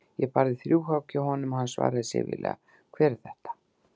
Ég barði þrjú högg hjá honum og hann svaraði syfjulega: Hver er þar?